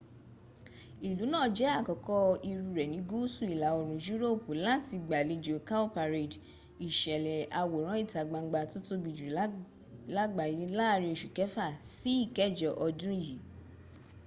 ìlú náà jẹ àkọ́kọ́ irú rẹ ní gúúsu ìlà-òrùn yúróòpù làti gbàlẹjò cowparade ìsẹ̀lè àwòrán ìtagbangba tó tóbi jù làgbàyà lààrin osù kẹfà sí ìkẹjọ odùn yí